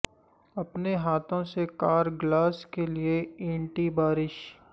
اپنے ہاتھوں سے کار گلاس کے لئے اینٹی بارش